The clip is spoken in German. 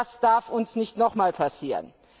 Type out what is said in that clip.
Das darf uns nicht noch einmal passieren.